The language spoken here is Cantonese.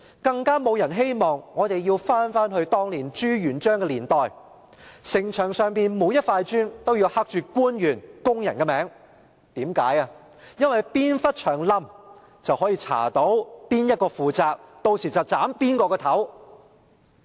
更沒有人希望我們要回到朱元璋的年代，城牆上每塊磚也要刻上官員和工人的名字，哪部分牆倒塌，便能調查到由誰負責，屆時便能砍誰的頭。